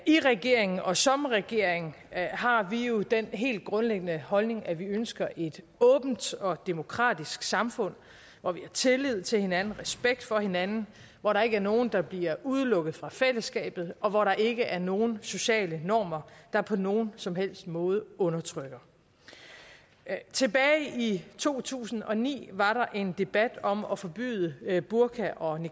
i regeringen og som regering har vi jo den helt grundlæggende holdning at vi ønsker et åbent og demokratisk samfund hvor vi har tillid til hinanden respekt for hinanden hvor der ikke er nogen der bliver udelukket fra fællesskabet og hvor der ikke er nogen sociale normer der på nogen som helst måde undertrykker tilbage i to tusind og ni var der en debat om at forbyde burka og